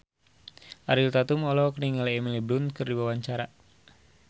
Ariel Tatum olohok ningali Emily Blunt keur diwawancara